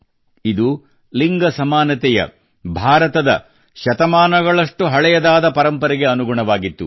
ಇದು ಲಿಂಗ ಸಮಾನತೆಯ ಭಾರತದ ಶತಮಾನದಷ್ಟು ಹಳೆಯದಾದ ಪರಂಪರೆಗೆ ಅನುಗುಣವಾಗಿತ್ತು